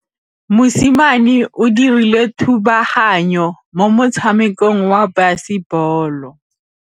Mosimane o dirile thubaganyô mo motshamekong wa basebôlô.